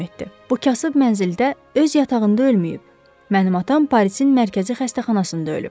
Bu kasıb mənzildə öz yatağında ölməyib, mənim atam Parisin mərkəzi xəstəxanasında ölüb.